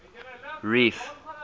reef